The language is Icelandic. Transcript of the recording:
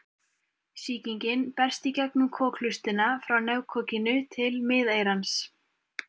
Sýkingin berst í gegnum kokhlustina frá nefkokinu til miðeyrans.